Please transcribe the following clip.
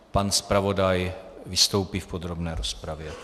Pan zpravodaj vystoupí v podrobné rozpravě.